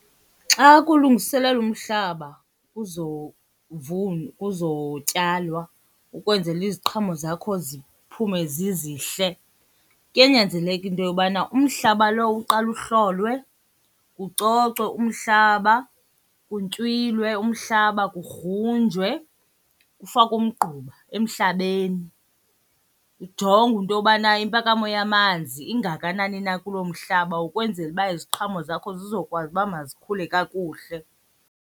Xa kulungiselelwa umhlaba kuzotyalwa ukwenzela iziqhamo zakho ziphume zizihle, kuyanyanzeleka into yobana umhlaba lowo uqale uhlolwe, kucocwe umhlaba, kuntywilwe umhlaba, kugrunjwe, kufakwe umgquba emhlabeni. Kujongwe into yobana impakamo yamanzi ingakanani na kuloo mhlaba ukwenzela uba iziqhamo zakho zizokwazi uba mazikhule kakuhle.